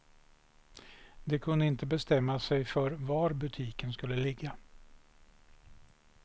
De kunde inte bestämma sig för var butiken skulle ligga.